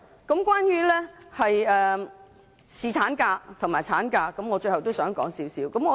最後關於侍產假及產假，我也想提出一些意見。